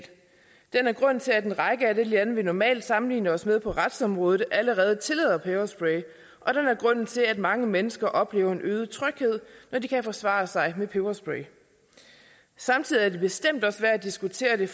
den er grunden til at lande vi normalt sammenligner os med på retsområdet allerede tillader peberspray og den er grunden til at mange mennesker oplever en øget tryghed når de kan forsvare sig med peberspray samtidig er det bestemt også værd at diskutere det